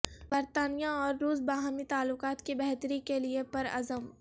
برطانیہ اور روس باہمی تعلقات کی بہتری کےلیے پرعزم